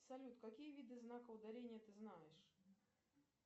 салют какие виды знаков ударения ты знаешь